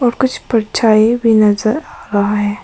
कुछ परछाई भी नजर आ रहा है।